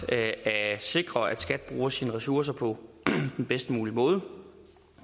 at sikre at skat bruger sine ressourcer på den bedst mulige måde